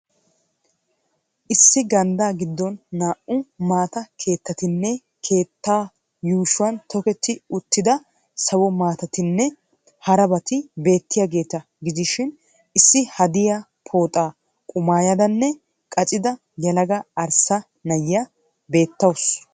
Issi gandda gidoon naa'u maata keettatinne kettatu yuushshuwaan toketti Uttlesford sawo maatatinne harabaatti beetiyageeta gidishiin issi hadiya pooxaa qumayidanne qaccida yelaga arssa na'iyaa beettawusu.